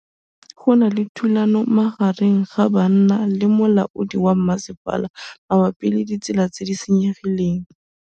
Go na le thulanô magareng ga banna le molaodi wa masepala mabapi le ditsela tse di senyegileng.